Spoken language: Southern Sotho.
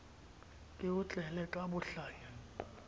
ke o tlele ka bohlanya